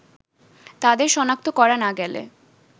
তাদের সনাক্ত করা না গেলে